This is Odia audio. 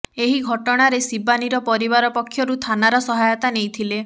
ଏହି ଘଟଣାରେ ଶିବାନୀର ପରିବାର ପକ୍ଷରୁ ଥାନାର ସହାୟତା ନେଇଥିଲେ